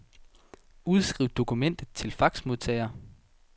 Udskriv dokument til faxmodtager.